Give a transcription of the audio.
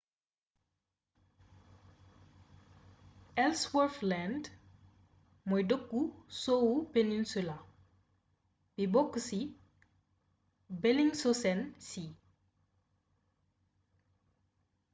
ellsworth land mooy dëkku sowwu peninsula bi bokk ci bellingshausen sea